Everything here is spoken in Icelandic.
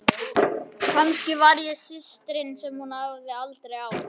Kannski var ég systirin sem hún hafði aldrei átt.